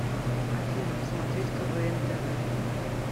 афина посмотреть квн тв